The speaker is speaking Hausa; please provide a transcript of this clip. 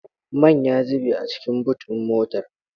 Man ya zube a cikin boot ɗin motar.